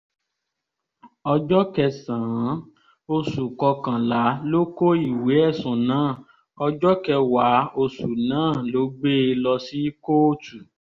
ọjọ́ kẹsàn-án oṣù kọkànlá ló kó ìwé ẹ̀sùn náà ọjọ́ kẹwàá oṣù náà ló gbé e lọ sí kóòtù